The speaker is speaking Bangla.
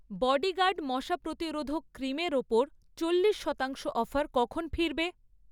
বডিগার্ড মশা প্রতিরোধক ক্রিমের ওপর চল্লিশ শতাংশ অফার কখন ফিরবে?